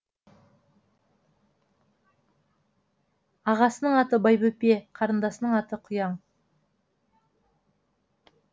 ағасының аты байбөпе қарындасының есімі құяң